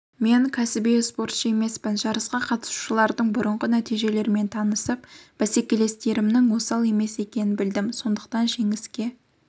мен кәсіби спортшы емеспін жарысқа қатысушылардың бұрынғы нәтижелерімен танысып бәсекелестерімнің осал емес екенін білдім сондықтан жеңіске